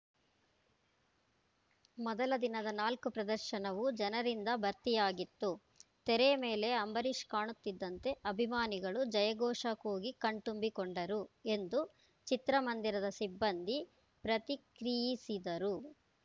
ಮೊದಲ ದಿನದ ನಾಲ್ಕು ಪ್ರದರ್ಶನವೂ ಜನರಿಂದ ಭರ್ತಿಯಾಗಿತ್ತು ತೆರೆ ಮೇಲೆ ಅಂಬರೀಷ್‌ ಕಾಣುತ್ತಿದ್ದಂತೆ ಅಭಿಮಾನಿಗಳು ಜಯ ಘೋಷ ಕೂಗಿ ಕಣ್ತುಂಬಿಕೊಂಡರು ಎಂದು ಚಿತ್ರಮಂದಿರದ ಸಿಬ್ಬಂದಿ ಪ್ರತಿಕ್ರಿಯಿಸಿದರು